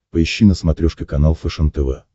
поищи на смотрешке канал фэшен тв